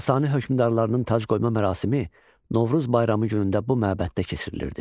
Sasani hökmdarlarının tacqoyma mərasimi Novruz bayramı günündə bu məbəddə keçirilirdi.